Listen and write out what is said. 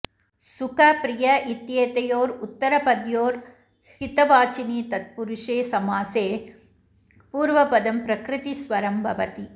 सुख प्रिय इत्येतयोरुत्तरपद्योर् हितवाचिनि तत्पुरुषे समासे पूर्वपदं प्रकृतिस्वरं भवति